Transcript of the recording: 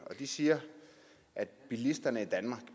de siger at bilisterne i danmark